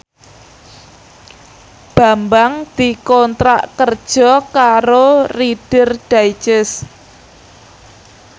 Bambang dikontrak kerja karo Reader Digest